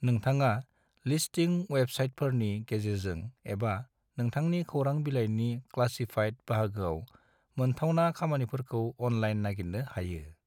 नोंथाङा लिस्टिं वेबसाइटोफोरनि गेजेरजों एबा नोंथांनि खौरां बिलायनि क्लासीफाइड बाहागोआव मोनथावना खामानिफोरखौ अनलाइन नागिरनो हायो।